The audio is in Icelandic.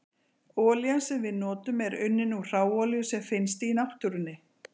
Olían sem við notum er unnin úr hráolíu sem finnst í náttúrunni.